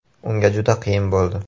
“Unga juda qiyin bo‘ldi.